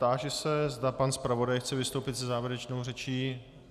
Táži se, zda pan zpravodaj chce vystoupit se závěrečnou řečí.